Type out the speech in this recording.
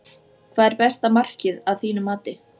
Hvað er besta markið að þínu mati?